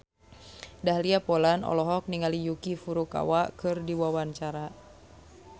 Dahlia Poland olohok ningali Yuki Furukawa keur diwawancara